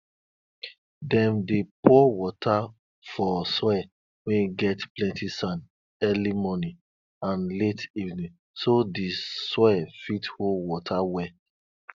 dem dey pour water for soil wey get plenti sand early morning and late evening so di soil fit hold water well